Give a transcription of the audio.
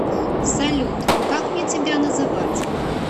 салют как мне тебя называть